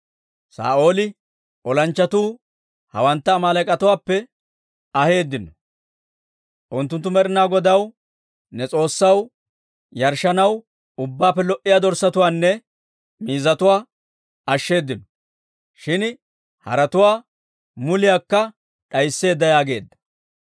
Saa'ooli, «Olanchchatuu hawantta Amaaleek'atuwaappe aheeddino; unttunttu Med'inaa Godaw, ne S'oossaw yarshshanaw, ubbaappe lo"iyaa dorssatuwaanne miizzatuwaa ashsheddinno; shin haratuwaa muliyaakka d'aysseeddo» yaageedda.